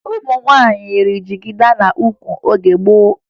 Ụmụ nwaanyị yiri jigida n'ukwu n'oge gboo